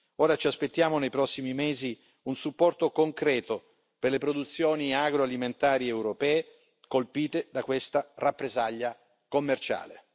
Ora ci aspettiamo nei prossimi mesi un supporto concreto per le produzioni agroalimentari europee colpite da questa rappresaglia commerciale.